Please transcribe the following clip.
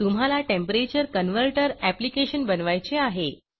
तुम्हाला temperature converter application बनवायचे आहे